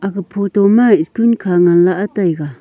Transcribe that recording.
aga photo ma school khah ngan la e taiga.